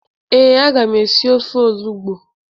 Ee, aga m esi ofe olugbo.